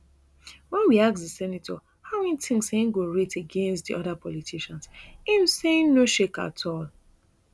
wen we ask di senator how e tink say e go rate against di oda politicians im say e no shake at all